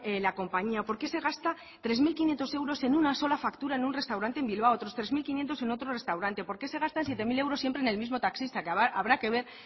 la compañía por qué se gasta tres mil quinientos euros en una sola factura en un restaurante en bilbao otros tres mil quinientos en otro restaurante por qué se gastan siete mil euros siempre en el mismo taxista que habrá que ver